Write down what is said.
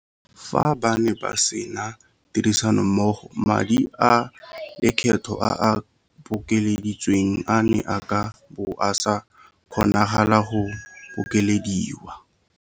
Fa ba ne ba sena tirisanommogo madi a lekgetho a a bokeleditsweng a ne a ka bo a sa kgonagala go bokelediwa.